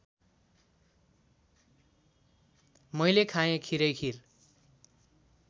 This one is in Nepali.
मैले खाँए खिरैखिर